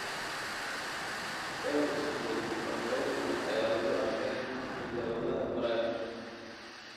Dhowr isbedel oo kala duwan ayaa lagu arkay hidda-wadaha prion.